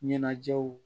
Ɲɛnajɛw